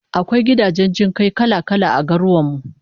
Akwai gidajen jin kai kala-kala a garurwan mu